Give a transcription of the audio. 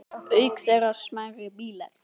Auk þeirra smærri bílar.